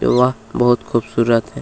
जगह बहुत खूबसूरत है।